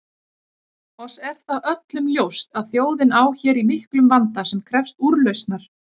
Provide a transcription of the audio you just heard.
Oss er það öllum ljóst að þjóðin á hér í miklum vanda sem krefst úrlausnar.